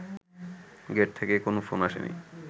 gate থেকে কোনো phone আসেনি